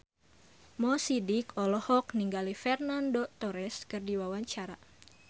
Mo Sidik olohok ningali Fernando Torres keur diwawancara